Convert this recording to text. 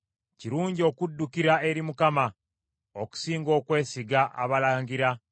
Kirungi okuddukira eri Mukama okusinga okwesiga abalangira.